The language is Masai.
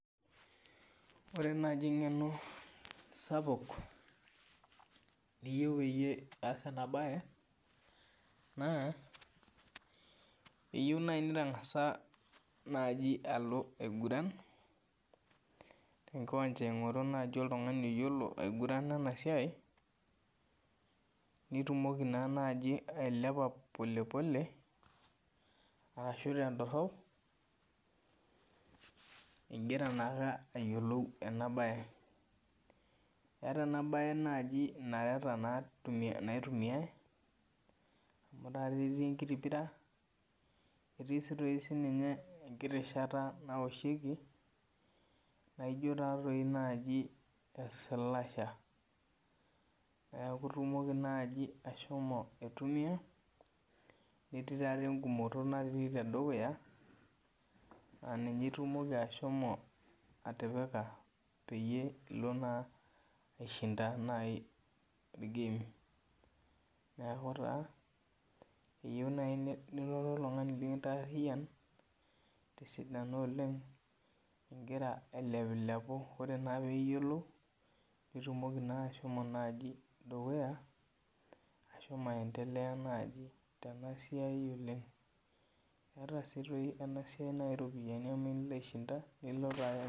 Ore naaji eng'eno sapuk niyieu peyie iyas ena mbae naa keyieu naa nitang'asa naaji aloo aiguran te nkiwunja aing'oru naaji oltung'ani oyiolo aigurana enasiai naitumoki naa nanji ailepa polepole arashu tedorop igira naake ayiolou ena mbae etaa naaji ena mbae nareta naitumiai amu Ore ake petie enkiti pira netii doi sininye enkiti shata naoshiekie naijio doi naaji slasher neeku itunoki naaji asho aitumia netii doi naaji egumoto naapiki tedukuya naa ninye itumoki ashomo atipika peyie elo naa aishinda game neeku taa eyieu nitum oltung'ani likintarian tesidano oleng Egira ailepulepu oree naa piyiolou naitumoki naa ashomo naaji dukuya ashomo naaji aendelea tenasaiai oleng etaa doi naaji ena siai iropiani amu tenilo aishinda